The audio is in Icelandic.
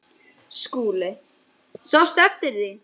SKÚLI: Sástu eftir því?